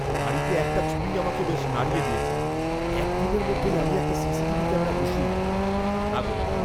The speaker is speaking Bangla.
বাড়িতে একটা চুরিই আমাকে বেশ নাড়িয়ে দিয়েছে, এক দিনের মধ্যেই আমি একটা সিসিটিভি ক্যামেরা বসিয়ে নেবো। নাগরিক